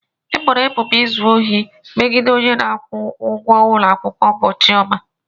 E boro ebubo izu ohi megide onye na-akwụ ụgwọ ụlọ akwụkwọ bụ Chioma.